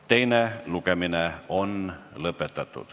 Teine lugemine on lõpetatud.